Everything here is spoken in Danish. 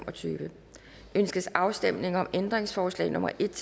og tyve ønskes afstemning om ændringsforslag nummer en